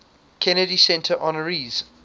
kennedy center honorees